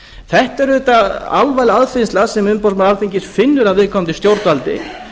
þetta er auðvitað alvarleg aðfinnsla sem umboðsmaður alþingis finnur að viðkomandi stjórnvaldi